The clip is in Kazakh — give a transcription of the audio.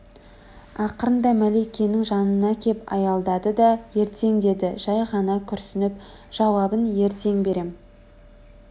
ақырында мәликенің жанына кеп аялдады да ертең деді жай ғана күрсініп жауабын ертең берем